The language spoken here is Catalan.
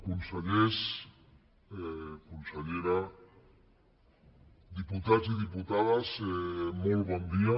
consellers consellera di·putats i diputades molt bon dia